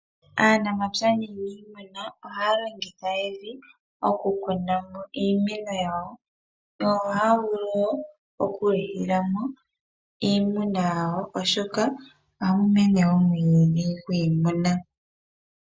Aanamapya naaniimuna ohaya longitha evi oku kuna iimeno yawo. Yo ohaya vulu woo okulitha mo iimeno yawo oshoka ohamu mene omwiidhi gwiimuna.